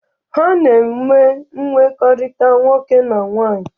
Ha na-eme mmekọrịta nwoke na nwaanyị.